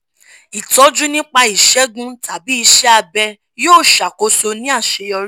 ìtọ́jú (nípa ìṣẹ̀gun tàbí iṣẹ́ abẹ̀) yóò ṣàkóso ní àṣeyọrí